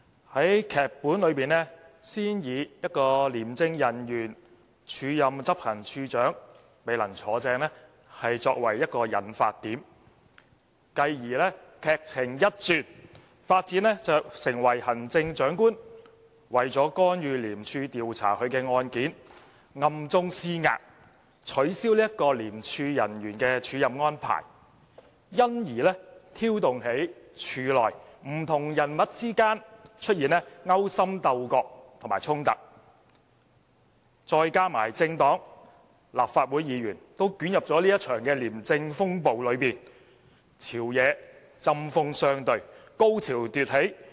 在劇本中，先以一位廉政公署人員署任執行處處長而未能"坐正"作為引發點，繼而劇情一轉，發展至行政長官為了干預廉署調查他的案件而暗中施壓，取消該名廉署人員的署任安排，因而挑動起廉署內不同人物之間出現勾心鬥角和衝突，再加上政黨和立法會議員均捲入這場廉政風暴中，朝野之間針鋒相對、高潮迭起。